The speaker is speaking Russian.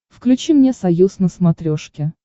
включи мне союз на смотрешке